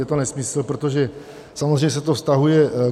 Je to nesmysl, protože samozřejmě se to vztahuje...